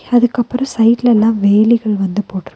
அதுக்கப்ரோ சைடுலலா வேலிகள் வந்து போட்ரு --